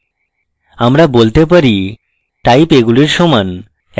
আমরা বলতে পারি type এগুলির সমান